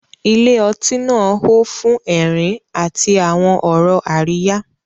Ilé ọtí náà hó fún ẹ̀rín àti àwọn ọ̀rọ̀ àríyá.